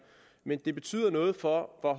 men at det betyder noget for hvor